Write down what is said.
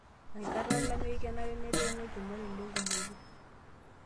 Enkata olameyu kenare netemi olchumati lengumoto.